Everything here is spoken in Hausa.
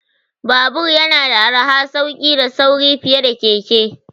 Babur yana da arha, sauki da sauri fiye da keke.